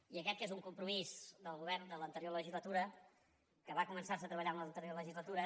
i aquest que és un compromís del govern de l’anterior legislatura que va començar se a treballar en l’anterior legislatura